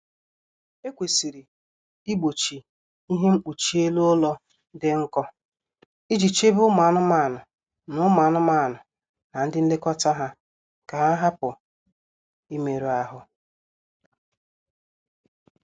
E kwesịrị igbochi ihe mkpuchi elu ụlọ dị nkọ iji chebe ụmụ anụmanụ na ụmụ anụmanụ na ndi nlekọta ha ka ha hupu imerụ ahụ